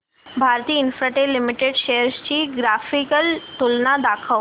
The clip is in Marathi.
भारती इन्फ्राटेल लिमिटेड शेअर्स ची ग्राफिकल तुलना दाखव